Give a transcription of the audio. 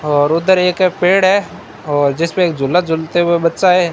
और उधर एक पेड़ है और जिसपे एक झूला झूलते हुए बच्चा है।